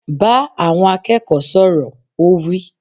Bá àwọn akẹ́kọ̀ọ́ sọ̀rọ̀! Ó wí.